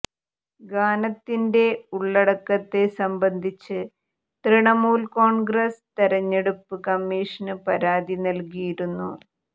ഗാനത്തിന്റെ ഉള്ളടക്കത്തെ സംബന്ധിച്ച് തൃണമൂല് കോണ്ഗ്രസ് തെരഞ്ഞെടുപ്പ് കമ്മീഷന് പരാതി നല്കിയിരുന്നു